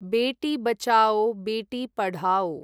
बेटी बचाओ बेटी पढाओ